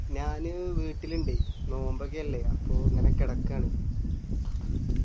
ഞാന് വീട്ടില് ഇണ്ട് നോമ്പൊക്കെ അല്ലെ അപ്പൊ ഇങ്ങനെ കെടക്ക്ആണ്